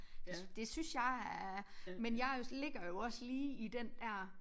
Det synes jeg er men jeg ligger jo også lige i den der